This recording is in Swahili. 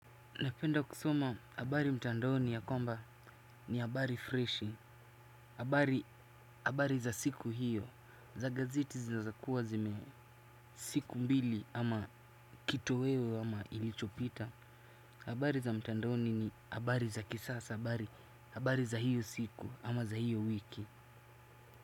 Napenda kusoma habari mtandaoni ya kwamba ni habari freshi, habari za siku hiyo, za gazeti zinazokuwa zime siku mbili ama kitu wewe ama ilichopita, habari za mtandaoni ni habari za kisasa, habari za hiyo siku ama za hiyo wiki.